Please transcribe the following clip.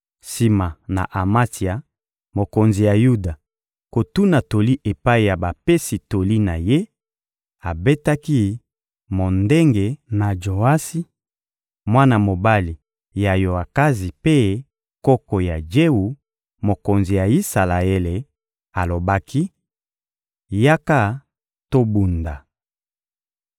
Sima na Amatsia, mokonzi ya Yuda, kotuna toli epai ya bapesi toli na ye, abetaki mondenge na Joasi, mwana mobali ya Yoakazi mpe koko ya Jewu, mokonzi ya Isalaele; alobaki: — Yaka tobunda!